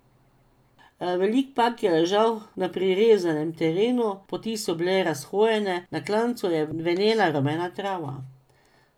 Veliki park je ležal na prirezanem terenu, poti so bile razhojene, na klancu je venela rumena trava.